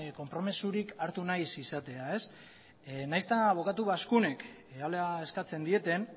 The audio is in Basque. konpromezurik hartu nahi ez izatea nahiz eta abokatu eskatzen dieten